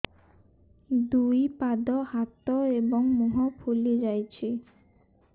ଦୁଇ ପାଦ ହାତ ଏବଂ ମୁହଁ ଫୁଲି ଯାଉଛି